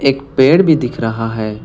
एक पेड़ भी दिख रहा है।